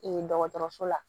dɔgɔtɔrɔso la